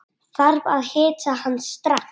Þarf að hitta hann strax.